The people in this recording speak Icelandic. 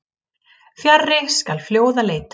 Fjarri skal fljóða leita.